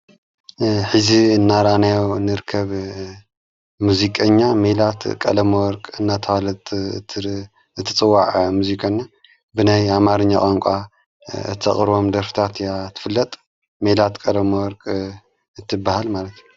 ኂዚ እናራናዮ ንርከብ ሙዙቀኛ ሚላት ቀለመወርቅ እናተዋለት እቲጽዋዐ ሙዚቀና ብናይ ኣማርኛ ቐንቋ ተቕርቦም ደርፍታት እያ ትፍለጥ መላት ቀሎመወርቅ እትበሃል ማለት።